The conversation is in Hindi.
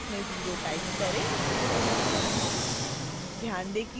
दूसरे बॉक्स में 0 टाइप करें